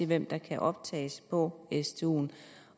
hvem der kan optages på stuen